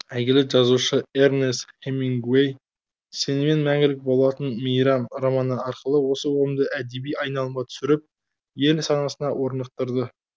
әйгілі жазушы эрнест хемингуэй сенімен мәңгілік болатын мейрам романы арқылы осы ұғымды әдеби айналымға түсіріп ел санасына орнықтырды